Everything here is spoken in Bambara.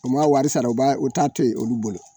U m'a wari sara u b'a u taa'a to ye olu bolo.